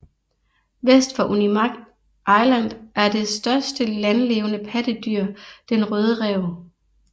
Vest for Unimak Island er det største lanlevende pattedyr den røde ræv